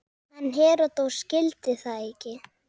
En Heródes skildi það ekki.